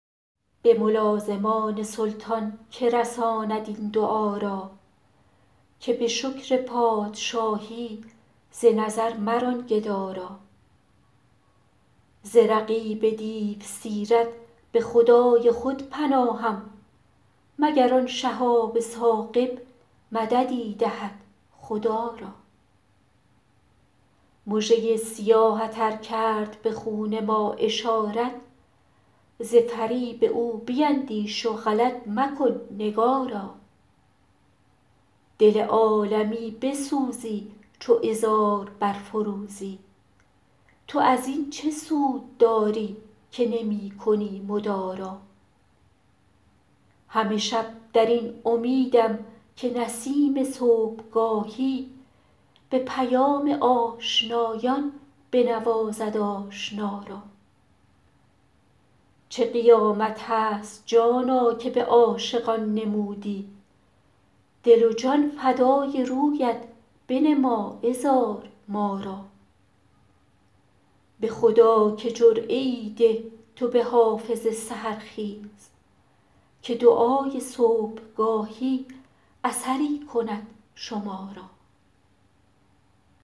به ملازمان سلطان که رساند این دعا را که به شکر پادشاهی ز نظر مران گدا را ز رقیب دیوسیرت به خدای خود پناهم مگر آن شهاب ثاقب مددی دهد خدا را مژه ی سیاهت ار کرد به خون ما اشارت ز فریب او بیندیش و غلط مکن نگارا دل عالمی بسوزی چو عذار برفروزی تو از این چه سود داری که نمی کنی مدارا همه شب در این امیدم که نسیم صبحگاهی به پیام آشنایان بنوازد آشنا را چه قیامت است جانا که به عاشقان نمودی دل و جان فدای رویت بنما عذار ما را به خدا که جرعه ای ده تو به حافظ سحرخیز که دعای صبحگاهی اثری کند شما را